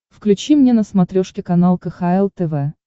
включи мне на смотрешке канал кхл тв